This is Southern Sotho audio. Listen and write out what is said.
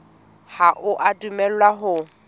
ha o a dumellwa ho